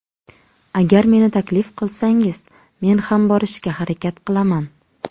Agar meni taklif qilsangiz, men ham borishga harakat qilaman.